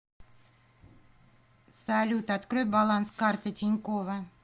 салют открой баланс карты тинькова